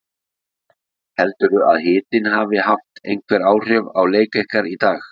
Heldurðu að hitinn hafi haft einhver áhrif á leik ykkar í dag?